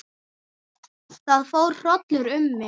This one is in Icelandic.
Það fór hrollur um mig.